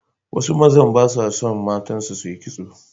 Wasu mazan ba sa son matansu su yi kitso.